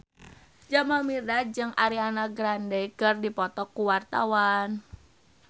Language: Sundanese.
Jamal Mirdad jeung Ariana Grande keur dipoto ku wartawan